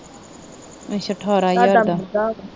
ਅੱਛਾ, ਠਾਰਾਂ ਹਜਾਰ ਦਾ।